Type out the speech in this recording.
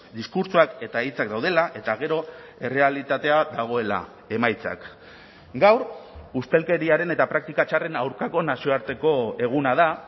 diskurtsoak eta hitzak daudela eta gero errealitatea dagoela emaitzak gaur ustelkeriaren eta praktika txarren aurkako nazioarteko eguna da